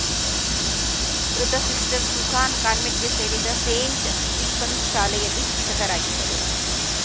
ಮೃತ sister Susan ಕಾನ್ವೆಂಟ್‌ಗೆ ಸೇರಿದ ಸೇಂಟ್‌ ಸ್ಟೀಫನ್ಸ್‌ ಶಾಲೆಯಲ್ಲಿ ಶಿಕ್ಷಕಿಯಾಗಿದ್ದರು